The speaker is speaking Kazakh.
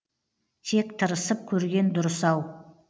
тек тырысып көрген дұрыс ау